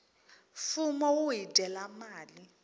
fumo wu hi dyela mali